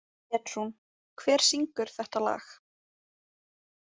Petrún, hver syngur þetta lag?